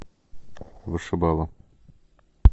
вышибала